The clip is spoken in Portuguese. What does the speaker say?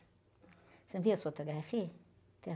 Você não viu as fotografias? Então...